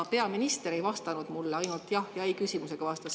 Ka peaminister ei vastanud mulle, ainult jah- ja ei-sõnaga vastas.